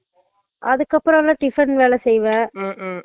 அதுக்கு அப்பறோ எல்ல tiffin வேலை செய்வன்